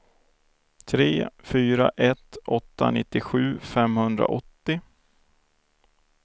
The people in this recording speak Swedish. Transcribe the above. tre fyra ett åtta nittiosju femhundraåttio